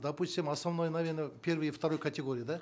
допустим основное наверно первой и второй категории да